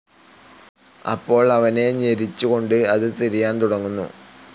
അപ്പോൾ അവനെ ഞെരിച്ചുകൊണ്ട് അത് തിരിയാൻ തുടങ്ങുന്നു.